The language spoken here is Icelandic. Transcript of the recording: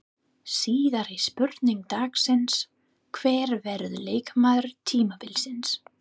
Síðari spurning dagsins: Hver verður leikmaður tímabilsins?